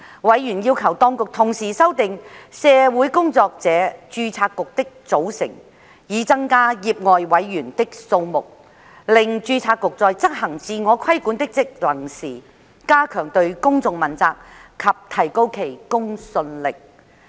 委員要求當局同時修訂社會工作者註冊局的組成，以增加業外委員的數目，令註冊局在執行自我規管的職能時，加強對公眾問責及提高其公信力。